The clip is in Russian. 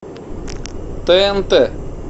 тнт